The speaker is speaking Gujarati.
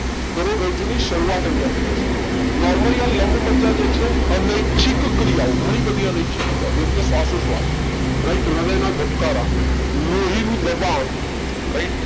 કરોડરજ્જુ ની શરૂવાત આઇયા થી થશે Normally આ લંબમજ્જા જે છે અનૈછિક ક્રિયા ઓ ઘણી બધી અનૈછિક ક્રિયાઓ જેમકે શ્વાસો શ્વાસ રાઈટ હૃદય ના ધબકારા લોહી નું દબાણ રાઈટ